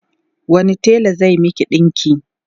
wani tela zai Miki ɗinki?